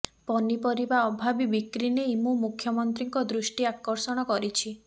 ପନିପରିବା ଅଭାବୀ ବିକ୍ରି ନେଇ ମୁଁ ମୁଖ୍ୟମନ୍ତ୍ରୀଙ୍କ ଦୃଷ୍ଟି ଆକର୍ଷଣ କରିଛି